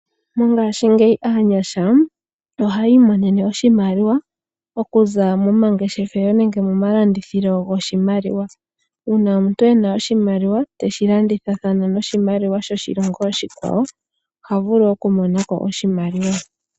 Mongashingeyi aanyasha ohay' imonene oshimaliwa okuza momangeshefelo nenge momalandithilo goshimaliwa, uuna omuntu ena oshimaliwa teshi landithathana noshimaliwa shoshilongo oshikwawo oha vulu oku monako oshimaliwa.